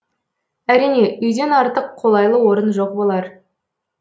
әрине үйден артық қолайлы орын жоқ болар